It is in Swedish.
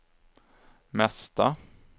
mesta